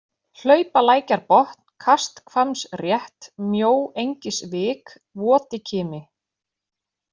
Hlaupalækjarbotn, Kasthvammsrétt, Mjóengisvik, Votikimi